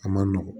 A man nɔgɔn